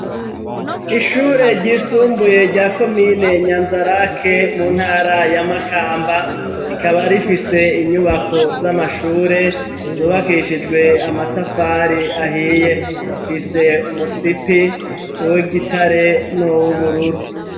Ishure ryisumbuye rya komine nyanzarake mu ntara y'amakamba rikaba rifise inyubako z'amashure zubakishijwe amatafari ahiye mfise umusipi w'gitare nuw'ubururu.